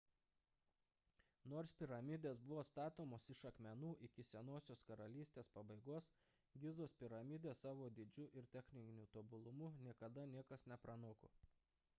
nors piramidės buvo statomos iš akmenų iki senosios karalystės pabaigos gizos piramidės savo dydžiu ir techniniu tobulumu niekada niekas nepranoko